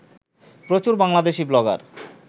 প্রচুর বাংলাদেশী ব্লগার